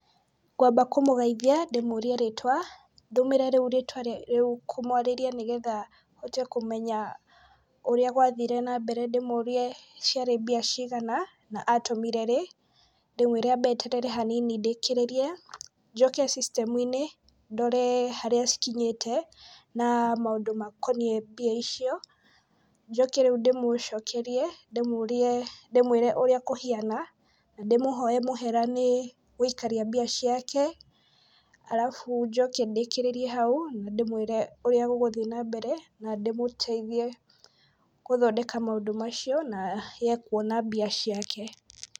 Ngwamba kũmũgeithia, ndĩmũrie rĩĩtwa, ndũmĩre rĩu rĩtwa rĩu kũmwarĩria nĩgetha hote kũmenya ũrĩa gwathire nambere. Ndĩmũrie ciarĩ mbia cigana, na atũmire rĩ. Ndĩmwĩre ambe eterere hanini ndĩkĩrĩrie. Njoke cicitemu-inĩ ndore harĩa cikinyĩte, na maũndũ makoniĩ mbia icio. Njoke rĩu ndĩmũcokerie, ndĩmũrie ndĩmwĩre ũrĩa kũhiana, ndĩmũhoe mũhera nĩ gũikaria mbia ciake, arabu njoke ndĩkĩrĩrie hau, ndĩmwĩre ũrĩa gũgũthi nambere, na ndĩmũteithie gũthondeka maũndũ macio, na ye kuona mbia ciake.